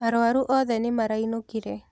Arũaru othe nĩ marainũkire.